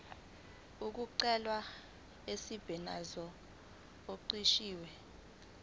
okugcwele umsebenzi oqashwe